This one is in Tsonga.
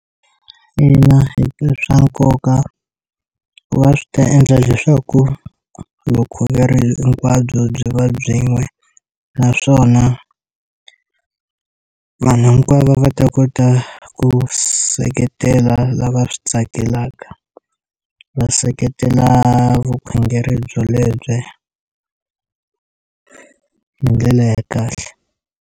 Ina i swa nkoka ku va swi ta endla leswaku vukhongeri hinkwabyo byi va byin'we naswona vanhu hinkwavo va ta kota ku seketela lava swi tsakelaka va seketela vukhongeri byo lebyi hi ndlela ya kahle.